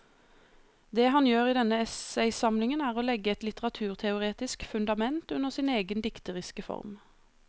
Det han gjør i denne essaysamlingen er å legge et litteraturteoretisk fundament under sin egen dikteriske form.